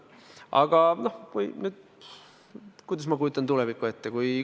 Aga kuidas ma kujutan tulevikku ette?